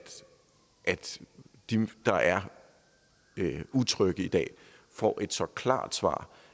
de der er utrygge i dag får et så klart svar